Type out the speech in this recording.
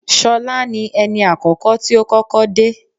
Ṣọlá ni ẹni àkọ́kọ́ tí ó kọ́kọ́ dé